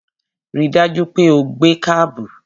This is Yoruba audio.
Ri dájú pé o gbé kábù!